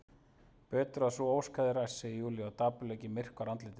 Betur að sú ósk hefði ræst, segir Júlía og dapurleikinn myrkvar andlitið.